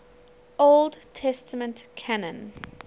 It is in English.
old testament canon